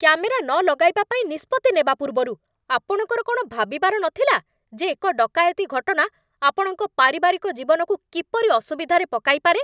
Camera ନ ଲଗାଇବା ପାଇଁ ନିଷ୍ପତ୍ତି ନେବା ପୂର୍ବରୁ, ଆପଣଙ୍କର କ'ଣ ଭାବିବାର ନଥିଲା ଯେ ଏକ ଡକାୟତି ଘଟଣା ଆପଣଙ୍କ ପାରିବାରିକ ଜୀବନକୁ କିପରି ଅସୁବିଧାରେ ପକାଇପାରେ?